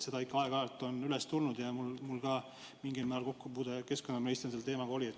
Seda on ikka aeg-ajalt üles tulnud ja mul oli ka keskkonnaministrina mingil määral selle teemaga kokkupuude.